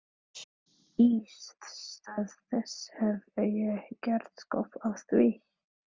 Í stað þess hef ég gert skop að því.